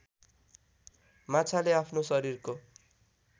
माछाले आफ्नो शरीरको